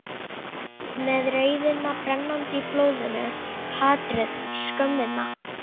Með reiðina brennandi í blóðinu, hatrið, skömmina.